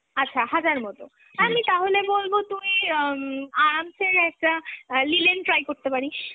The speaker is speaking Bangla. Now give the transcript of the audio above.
আচ্ছা হাজার মতো, হ্যাঁ আমি তাহলে বলব তুই অ্যাঁ আরামসে একটা অ্যাঁ linen try করতে পারিস।